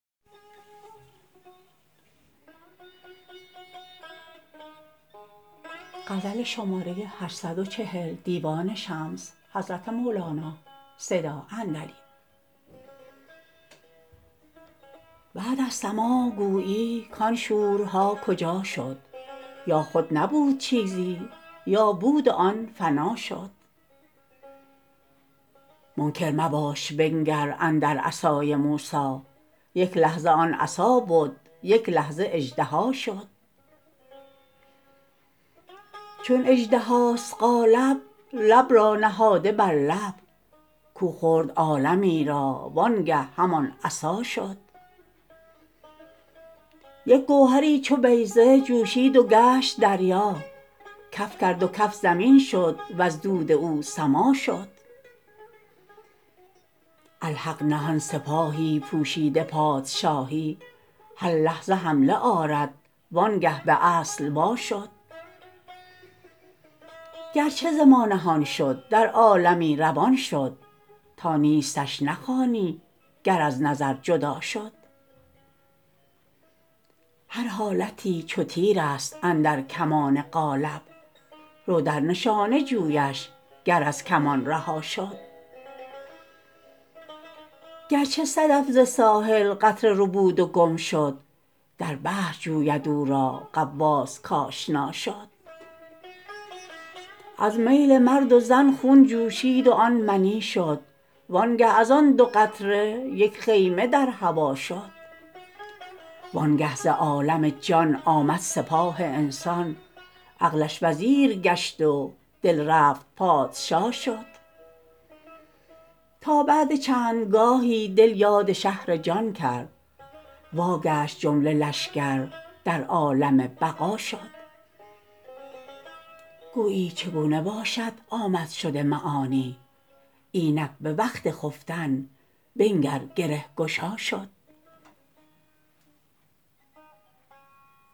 بعد از سماع گویی کان شورها کجا شد یا خود نبود چیزی یا بود و آن فنا شد منکر مباش بنگر اندر عصای موسی یک لحظه آن عصا بد یک لحظه اژدها شد چون اژدهاست قالب لب را نهاده بر لب کو خورد عالمی را وانگه همان عصا شد یک گوهری چو بیضه جوشید و گشت دریا کف کرد و کف زمین شد وز دود او سما شد الحق نهان سپاهی پوشیده پادشاهی هر لحظه حمله آرد وانگه به اصل واشد گرچه ز ما نهان شد در عالمی روان شد تا نیستش نخوانی گر از نظر جدا شد هر حالتی چو تیرست اندر کمان قالب رو در نشانه جویش گر از کمان رها شد گرچه صدف ز ساحل قطره ربود و گم شد در بحر جوید او را غواص کاشنا شد از میل مرد و زن خون جوشید وان منی شد وانگه از آن دو قطره یک خیمه در هوا شد وانگه ز عالم جان آمد سپاه انسان عقلش وزیر گشت و دل رفت پادشا شد تا بعد چند گاهی دل یاد شهر جان کرد واگشت جمله لشکر در عالم بقا شد گویی چگونه باشد آمدشد معانی اینک به وقت خفتن بنگر گره گشا شد